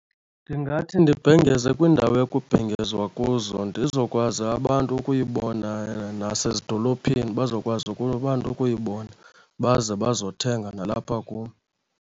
Ndingathi ndibhengeze kwiindawo ekubhengezwa kuzo ndizokwazi abantu ukuyibona, nasezidolophini bazokwazi abantu ukuyibona baze bazothenga nalapha kum.